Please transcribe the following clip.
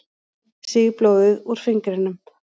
Sýg blóðið úr fingrinum.